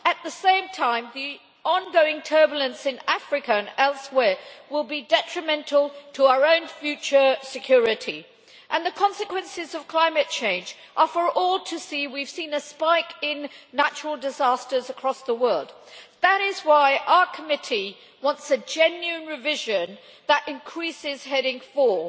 At the same time, the ongoing turbulence in Africa and elsewhere will be detrimental to our own future security, and the consequences of climate change are plain for all to see. We have seen a spike in natural disasters across the world. That is why our committee wants a genuine revision that increases Heading 4,